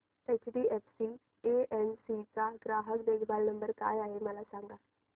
HDFC AMC चा ग्राहक देखभाल नंबर काय आहे मला सांग